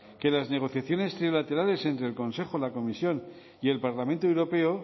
que las negociaciones trilaterales entre el consejo la comisión y el parlamento europeo